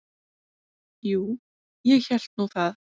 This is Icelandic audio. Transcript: Jú, ég hélt nú það.